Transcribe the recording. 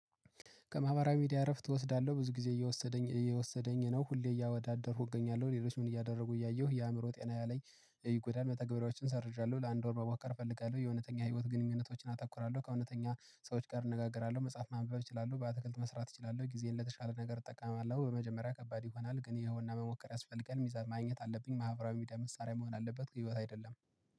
ከማህበራዊ ሚዲያ እረፍት እወሰዳለሁ ብዙ ጊዜ እየወሰደኝ እየወሰደኝ ነው ሁሌ እያወዳደርኩ እገኛለሁ ሌሎች ምን እያደረጉ እያየሁ የአምሮ ጤና ላይ ይጎዳል መተገበሪያዎችን ሰርዣለሁ ለአንድ ወር መመኮር እፈልጋለሁ የአወነተኛ ህይወት ግንኙነቶችን አተኩራለሁ ከእወነተኛ ሰዎች ጋር እነጋገራለሁ መጻፍ ማንበብ እችላለሁ በአትክልት መስራት እችላለሁ ጊዜን ለተሻለ ነገር እጠቃማለሁ። በመጀመሪያ ከባድ ይሆናል ግን ይኸውና መሞከር ያስፈልጋል ሚዛን ማግኘት አለብኝ። ማህበራዊ ሚዲያ መሳሪያ መሆን አለበት አይደለም።